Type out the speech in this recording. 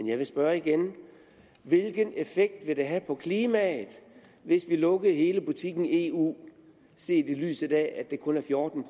jeg vil spørge igen hvilken effekt ville det have på klimaet hvis vi lukkede hele butikken eu set i lyset af at det kun er fjorten